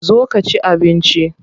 Zo ka ci abinci.